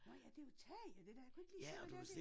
Nårh ja det jo tag dét der. Jeg kunne ikke lige se hvad det er det